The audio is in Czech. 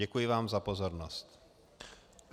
Děkuji vám za pozornost.